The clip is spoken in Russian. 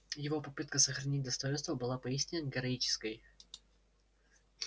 его попытка сохранить достоинство была поистине героической